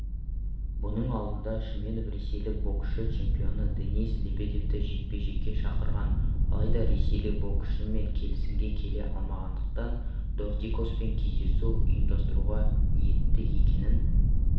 бұның алдында шүменов ресейлік боксшы чемпионы денис лебедевті жекпе-жекке шақырған алайда ресейлік боксшымен келісімге келе алмағандықтан дортикоспен кездесу ұйымдастыруға ниетті екенін